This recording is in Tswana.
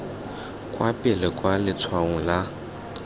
kwa pele kwa letshwaong la